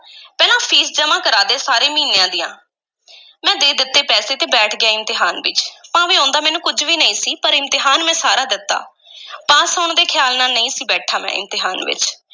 ਪਹਿਲਾਂ ਫ਼ੀਸ ਜਮ੍ਹਾਂ ਕਰਾ ਦੇ ਸਾਰੇ ਮਹੀਨਿਆਂ ਦੀਆਂ ਮੈਂ ਦੇ ਦਿੱਤੇ ਪੈਸੇ ਤੇ ਬੈਠ ਗਿਆ ਇਮਤਿਹਾਨ ਵਿੱਚ, ਭਾਵੇਂ ਆਉਂਦਾ ਮੈਨੂੰ ਕੁਝ ਵੀ ਨਹੀਂ ਸੀ, ਪਰ ਇਮਤਿਹਾਨ ਮੈਂ ਸਾਰਾ ਦਿੱਤਾ ਪਾਸ ਹੋਣ ਦੇ ਖ਼ਿਆਲ ਨਾਲ ਨਹੀਂ ਸੀ ਬੈਠਾ ਮੈਂ ਇਮਤਿਹਾਨ ਵਿੱਚ।